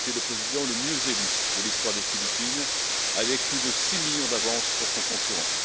Il est le président le mieux élu de l'histoire des Philippines avec plus de six millions d'avance sur son concurrent.